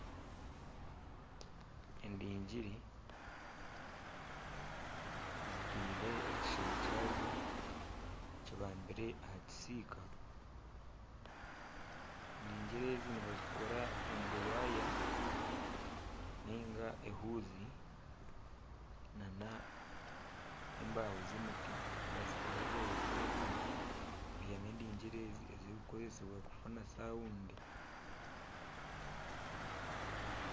Endingiri zitiire ekishushani kyazo kibambire aha kisiika , endingiri ezi nibazikora omu buwaya ninga ezuuhi nana embaaho z'emiti bazikora gye bazitebekanisa beihamu endingiri ezi kukoresibwa kufuna sawundi .